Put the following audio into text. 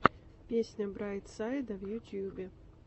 песня брайт сайда в ютубе